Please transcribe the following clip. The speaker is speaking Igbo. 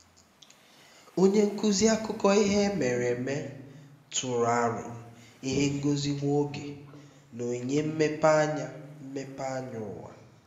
onye nkuzi akụkọ ihe mere eme tụrụ aro ihe ngosi nwa oge na onyinye mmepeanya mmepeanya ụwa